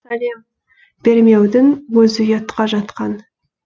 сәлем бермеудің өзі ұятқа жатқан